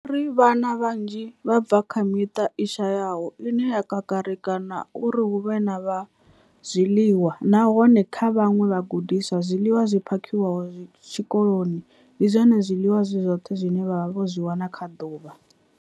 Vho ri, Vhana vhanzhi vha bva kha miṱa i shayaho ine ya kakarika uri hu vhe na zwiḽiwa, nahone kha vhaṅwe vhagudiswa, zwiḽiwa zwi phakhiwaho tshikoloni ndi zwone zwiḽiwa zwi zwoṱhe zwine vha zwi wana kha ḓuvha.